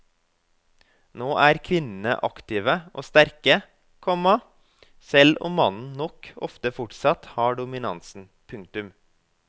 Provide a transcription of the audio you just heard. Nå er kvinnene aktive og sterke, komma selv om mannen nok ofte fortsatt har dominansen. punktum